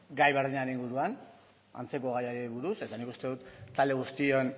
gai berdinaren inguruan antzeko gaiari buruz eta nik uste dut talde guztion